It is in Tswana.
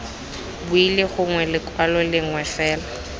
wili gongwe lekwalo lengwe fela